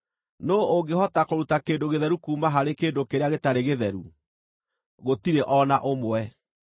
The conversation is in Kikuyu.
Nũũ ũngĩhota kũruta kĩndũ gĩtheru kuuma harĩ kĩndũ kĩrĩa gĩtarĩ gĩtheru? Gũtirĩ o na ũmwe!